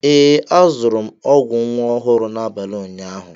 Ee, azụrụ m ọgwụ nwa ọhụrụ n'abalị ụnyaahụ.